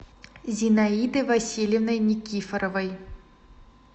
зинаидой васильевной никифоровой